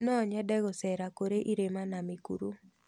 No nyende gũcera kũrĩ irĩma na mĩkuru.